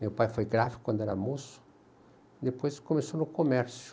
Meu pai foi gráfico quando era moço e depois começou no comércio.